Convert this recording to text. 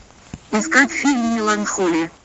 искать фильм меланхолия